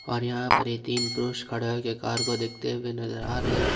और यहां पर ये तीन पुरुष खड़ा होके कार को देखते हुए नजर आ रहे हैं।